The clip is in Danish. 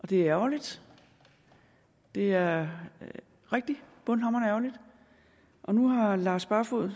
det er ærgerligt det er rigtig bundhamrende ærgerligt og nu har herre lars barfoed